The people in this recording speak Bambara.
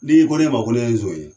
N'i ko ne ma ko ne ye zon ye